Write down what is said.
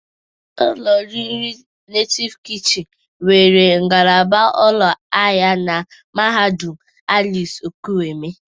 Ụlọ oriri Netịv Kịchịnị nwere ngalaba ụlọ ahịa na mahadụm Alex Ekwueme.